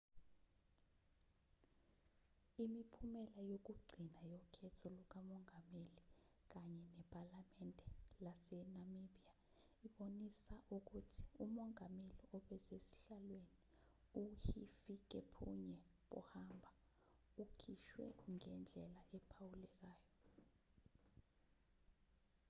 imiphumela yokugcina yokhetho lukamongameli kanye nephalamende lase-namibia ibonisa ukuthi umongameli obesesihlalweni u-hifikepunye pohamba ukhishwe ngendlela ephawulekayo